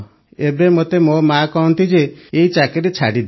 ଏବେ ମୋତେ ମୋ ମାଆ କହନ୍ତି ଯେ ଏହି ଚାକିରି ଛାଡ଼ିଦେ